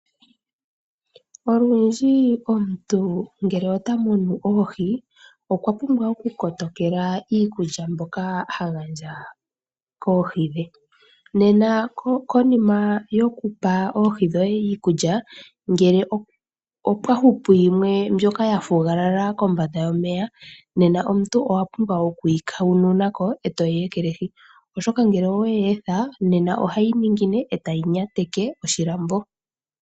Olundji omuntu ngele otamunu oohi okwapumbwa woo okukotokela iikulya mbyoka hagandja koohi dhe, nena konima yokupa oohi dhoye iikulya ngele opwahupu yimwe yili kombanda yomeya, ohayi pumbwa okukuthwa koetayi ekelwahi oshoka ngele oweyi etha ohayi ningine etayi nyateke oshilambo.